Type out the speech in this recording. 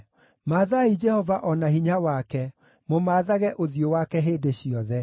Mathaai Jehova o na hinya wake; mũmaathage ũthiũ wake hĩndĩ ciothe.